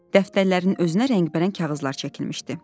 Dəftərlərin özünə rəngbərəng kağızlar çəkilmişdi.